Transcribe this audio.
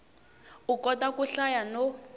u kota ku hlaya no